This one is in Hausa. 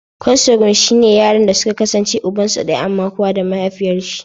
"Consanguine" shine yaranda suka kasance ubansu daya amma kowa da mahaifiyarshi.